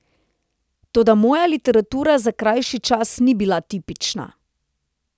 Toda moja literatura za krajši čas ni bila tipična.